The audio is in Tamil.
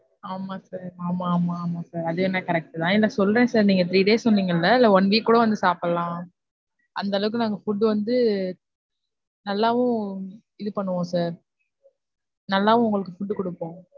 ஆமா sir ஆமா, ஆமா, ஆமா sir. அதுவேனா correct தான். இல்ல சொல்றேன் sir நீங்க three days சொன்னிங்கல்ல இல்ல one week கூட சாப்பிடலாம். அந்த அளவுக்கு நாங்க food வந்து நல்லாவும் இது பண்ணுவோம் sir நல்லாவும் உங்களுக்கு food குடுப்போம்.